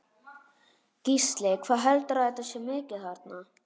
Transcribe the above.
Gísli: Hvað heldurðu að þetta sé mikið þarna?